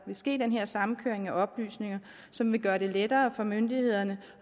vil ske den her samkøring af oplysninger som vil gøre det lettere for myndighederne